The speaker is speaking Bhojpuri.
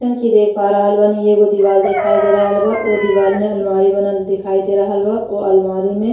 जइसन की देख रहल बानी। एगो दीवार दिखाई दे रहल बा। ओ दीवार में अलमीरा बनल दिखाई दे रहल बा ओ अलमीरा में।